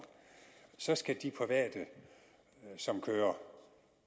så skal de private som kører